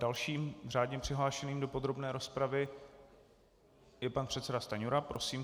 Dalším řádně přihlášeným do podrobné rozpravy je pan předseda Stanjura, prosím.